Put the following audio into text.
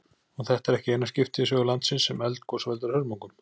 Og þetta er ekki eina skiptið í sögu landsins sem eldgos veldur hörmungum.